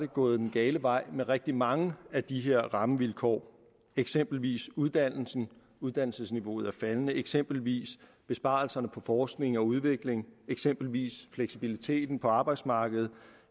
gået den gale vej med rigtig mange af de her rammevilkår eksempelvis uddannelsen uddannelsesniveauet er faldende eksempelvis besparelserne på forskning og udvikling eksempelvis fleksibiliteten på arbejdsmarkedet